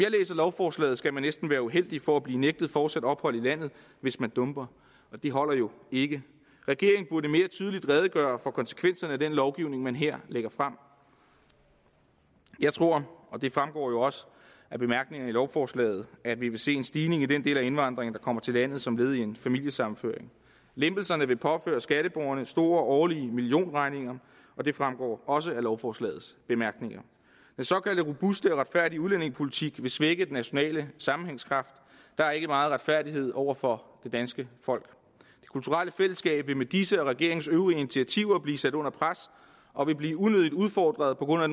lovforslaget skal man næsten være uheldig for at blive nægtet fortsat ophold i landet hvis man dumper og det holder jo ikke regeringen burde mere tydeligt redegøre for konsekvenserne af den lovgivning man her lægger frem jeg tror og det fremgår jo også af bemærkningerne til lovforslaget at vi vil se en stigning i den del af indvandringen kommer til landet som led i en familiesammenføring lempelserne vil påføre skatteborgerne store årlige millionregninger og det fremgår også af lovforslagets bemærkninger den såkaldte robuste og retfærdige udlændingepolitik vil svække den nationale sammenhængskraft der er ikke meget retfærdighed over for det danske folk det kulturelle fællesskab vil med disse og regeringens øvrige initiativer blive sat under pres og vil blive unødigt udfordret på grund af